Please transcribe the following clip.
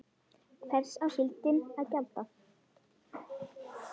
Hvers á síldin að gjalda?